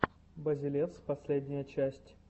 базелевс последняя часть